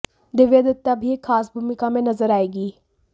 दिव्या दत्ता भी एक ख़ास भूमिका में नजऱ आएंगी